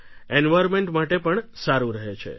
environment માટે પણ સારું રહે છે